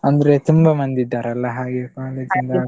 ಅಂದ್ರೆ ತುಂಬಾ ಮಂದಿ ಇದ್ದಾರಲ್ಲ ಹಾಗೆ college .